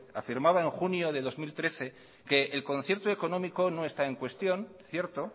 afirmaba en junio de dos mil trece que el concierto económico no está en cuestión cierto